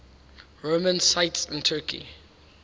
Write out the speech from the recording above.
roman sites in turkey